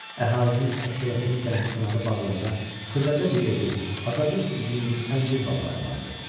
Əhalinin əksəriyyətinin dənizkənarı bağlarda xırdaca bir evi, azacıq üzüm, əncir bağları vardı.